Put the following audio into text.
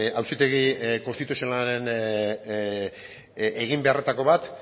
auzitegi konstituzionalaren eginbeharretako bat